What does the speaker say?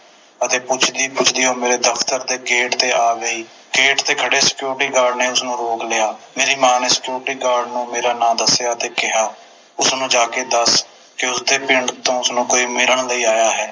ਅਤੇ ਪੁੱਛਦੀ ਪੁੱਛਦੀ ਉਹ ਮੇਰੇ ਦਫਤਰ ਦੇ ਗੇਟ ਤੇ ਆ ਗਈ ਗੇਟ ਤੇ ਖੜ੍ਹੇ Security Guard ਨੇ ਉਸਨੂੰ ਰੋਕ ਲਿਆ ਮੇਰੀ ਮਾਂ ਨੇ Security Guard ਨੂੰ ਮੇਰਾ ਨਾਮ ਦਸਿਆ ਤੇ ਕਿਹਾ ਉਸਨੂੰ ਜਾ ਕੇ ਦੱਸ ਦਿਓ ਕੇ ਪਿੰਡ ਤੋਂ ਉਸਨੂੰ ਕੋਈ ਮਿਲਣ ਲਈ ਆਇਆ ਹੈ